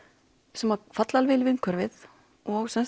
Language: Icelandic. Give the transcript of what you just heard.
sem falla við umhverfið og